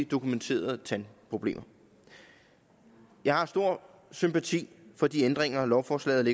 dokumenterede tandproblemer jeg har stor sympati for de ændringer lovforslaget